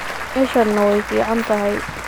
Meshana way ficantahy.